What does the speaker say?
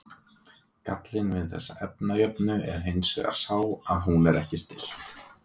gallinn við þessa efnajöfnu er hins vegar sá að hún er ekki stillt